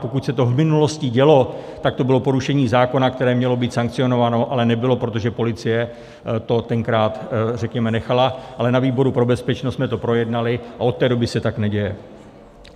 Pokud se to v minulosti dělo, tak to bylo porušení zákona, které mělo být sankcionováno, ale nebylo, protože policie to tenkrát, řekněme, nechala, ale na výboru pro bezpečnost jsme to projednali a od té doby se tak neděje.